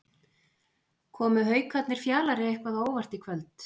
Komu Haukarnir Fjalari eitthvað á óvart í kvöld?